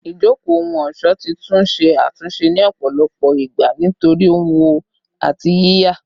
Ijoko ohun-ọṣọ ti tun ṣe atunṣe ni ọpọlọpọ igba nitori wọ ati yiya